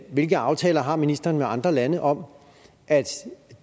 hvilke aftaler har ministeren med andre lande om at